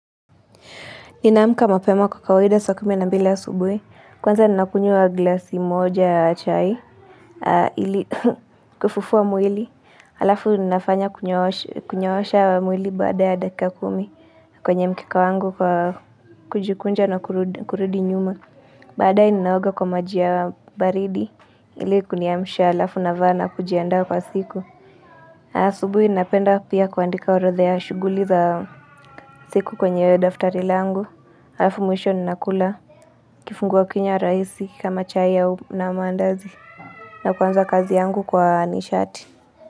Ninaamka mapema kwa kawaida saa kumi na mbili asubuhi. Kwanza ninakunywa glasi moja ya chai. Ili kufufua mwili. Alafu ninafanya kunyoosha mwili baada ya dakika kumi. Kwenye mkeka wangu kwa kujikunja na kurudi nyuma. Baada hii ninaoga kwa maji ya baridi. Ili kuniamsha alafu navaa na kujiandaa kwa siku. Asubuhi ninapenda pia kuandika orodha ya shughuli za siku kwenye daftari langu. Halafu mwisho ninakula kifungua kinywa rahisi kama chai au na maandazi na kuanza kazi yangu kwa nishati.